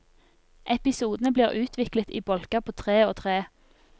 Episodene blir utviklet i bolker på tre og tre.